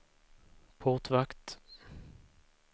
portvakt